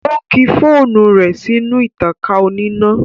Ó kí fóònù rẹ̀ sínú ìtankà oníná